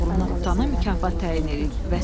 oğrunu tutana mükafat təyin eləyib.